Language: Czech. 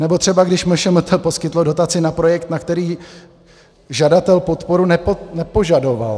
Nebo třeba když MŠMT poskytlo dotaci na projekt, na který žadatel podporu nepožadoval.